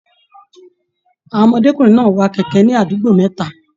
Àwọn ọmọdékunrin náà wà kẹkẹ ní àdúgbò mẹta.